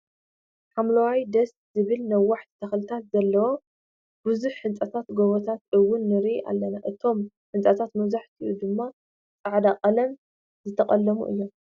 ሓምለዋይ ደስ ዝብልን ነዋሕቲ ተክልታት ዘለዎን ብዙሕ ህንፃታት ጎቦታትን እውን ንርኢ ኣለና። እቶም ህንፃታት መብዛሕቲኦም ድማ ፃዕዳ ቀለም ዝተቀለሙ እዮም።